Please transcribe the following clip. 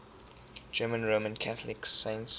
german roman catholic saints